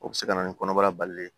O bɛ se ka na ni kɔnɔbara balilen ye